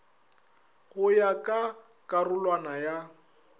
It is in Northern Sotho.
go ya ka karolwana ya